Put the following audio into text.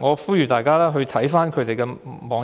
我呼籲大家瀏覽他們的網頁。